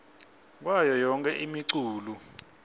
kwayo yonkhe imiculu